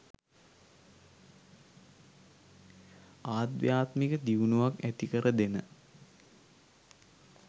අධ්‍යාත්මික දියුණුවක් ඇතිකර දෙන